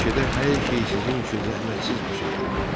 Meşədə hər şey sizin üçün zəhmətsiz başa gəlir.